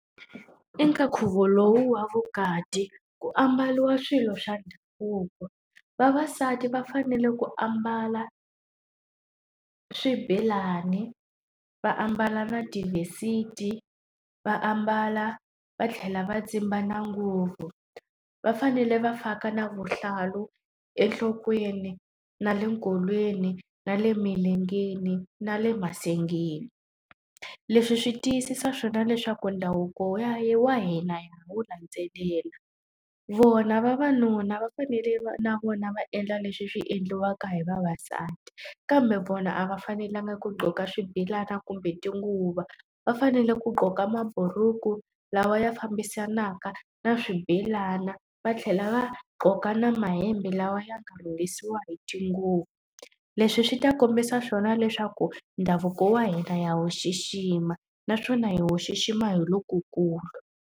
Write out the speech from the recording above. Eka nkhuvo lowu wa vukati ku ambariwa swilo swa ndhavuko. Vavasati va fanele ku ambala swibelani, va ambala na , va ambala va tlhela va tsimba na nguvo. Va fanele va faka na vuhlalu enhlokweni, na le nkolweni, na le emilengeni, na le masengeni. Leswi swi tiyisisa swona leswaku ndhavuko wa hina hi wu landzelela. Vona vavanuna va fanele va na vona va endla leswi swi endliwaka hi vavasati, kambe vona a va fanelanga ku gqoka swibelana kumbe tinguva, va fanele ku gqoka mabhuruku lawa ya fambisanaka na swibelana, va tlhela va gqoka na mahembe lawa ya nga rhungisiwa hi tinguva. Leswi swi ta kombisa swona leswaku ndhavuko wa hina ha wu xixima, naswona hi wu xixima hi lokukulu.